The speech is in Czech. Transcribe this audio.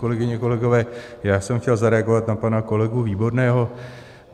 Kolegyně, kolegové, já jsem chtěl zareagovat na pana kolegu Výborného.